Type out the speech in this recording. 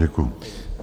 Děkuji.